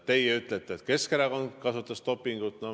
Teie ütlete, et Keskerakond kasutas dopingut.